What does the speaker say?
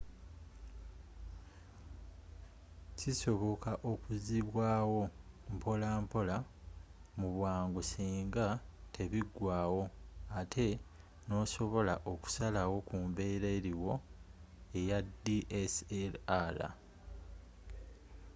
kisoboka okuzibwaawo mpola mpola mubwangu singa tebigwaawo ate nosobola okusalawo kumbeera eriwo eya dslr